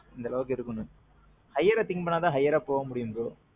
இந்த அளவுக்கு இதுபன்னனும். higher think பண்ணாதான் higher போக முடியும் bro.